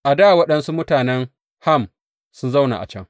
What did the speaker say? A dā waɗansu mutanen Ham sun zauna a can.